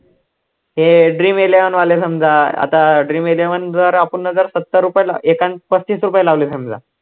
हे dream eleven वाले समजा, आता dream eleven जर आपणनं जर सत्तर रुपये एकाने पसत्तीस रुपये लावले समजा